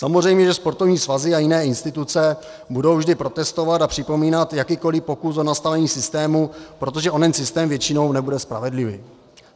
Samozřejmě, že sportovní svazy a jiné instituce budou vždy protestovat a připomínat jakýkoliv pokus o nastavení systému, protože onen systém většinou nebude spravedlivý.